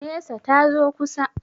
Nesa, ta zo kusa.